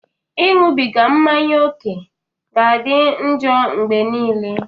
Ịṅụbiga mmanya ókè ga-adị njọ mgbe nile.